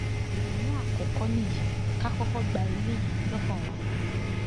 ìrònú àkọkọ nìyí ká kọkọ gba eléyìí lọkàn wa